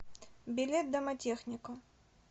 билет домотехника